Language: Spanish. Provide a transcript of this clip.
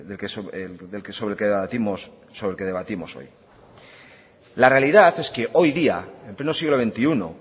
sobre el que debatimos hoy la realidad es que hoy día en pleno siglo veintiuno